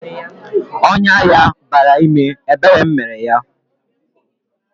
Ọnyá ya bara ime, ebere m mere yá